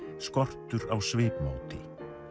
skortur á svipmóti